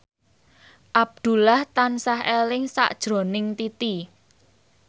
Abdullah tansah eling sakjroning Titi